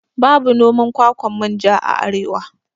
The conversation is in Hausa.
Babu noman kwakwan manja a arewa